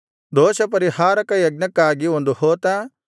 ದೋಷಪರಿಹಾರಕ ಯಜ್ಞಕ್ಕಾಗಿ ಒಂದು ಹೋತ